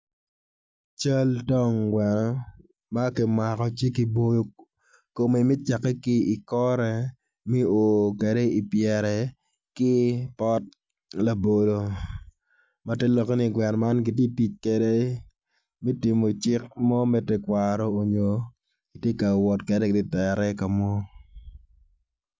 Cal tong gweno makimako ci ki boyo kome me cake ki i kore me o kede i pyere ki pot labolo ma ter lokke ni gweno man gitye tic kwede me tingo cik mo me tekwaro onyo gitye ka wot kede gitere i kamo.